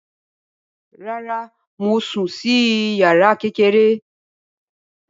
Rárá, mo sùn sí yàrá kékeré